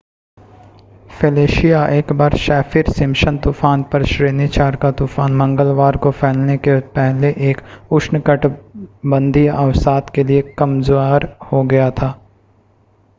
Felicia एक बार Saffir Simpson तूफ़ान पर श्रेणी 4 का तूफ़ान मंगलवार को फैलने से पहले एक उष्णकटिबंधीय अवसाद के लिए कमज़ार हो गया था